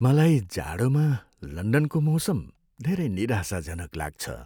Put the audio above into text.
मलाई जाडोमा लन्डनको मौसम धेरै निराशाजनक लाग्छ।